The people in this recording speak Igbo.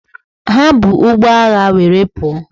Ha bu ụgbọ agha were pụọ.